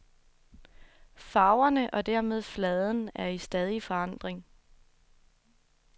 Farverne og dermed fladen er i stadig forandring.